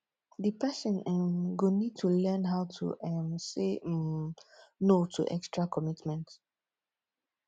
di person um go need to learn how to um say um no to extra committment